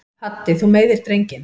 Haddi þú meiðir drenginn!